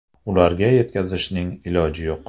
Ularga yetkazishning iloji yo‘q.